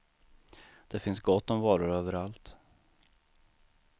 Det finns gott om varor överallt.